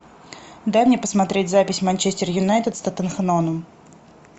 дай мне посмотреть запись манчестер юнайтед с тоттенхэмом